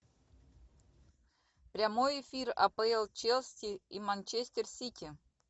прямой эфир апл челси и манчестер сити